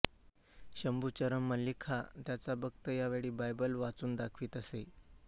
शंभुचरण मल्लिक हा त्यांचा भक्त यावेळी बायबल वाचून दाखवीत असे